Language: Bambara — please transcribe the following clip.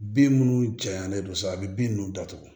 Bin minnu janyanalen don sa a bɛ bin ninnu datugu